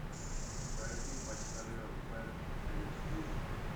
найти почтальон пэт эйч ди